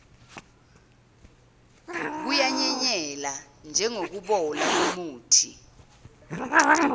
kuyanyelela njengokubola komuthi